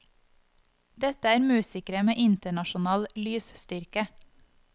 Dette er musikere med internasjonal lysstyrke.